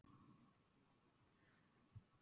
Hvernig líkar henni í miðri vörninni?